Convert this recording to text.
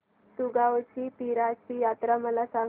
दुगावची पीराची यात्रा मला सांग